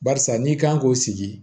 Barisa n'i kan k'o sigi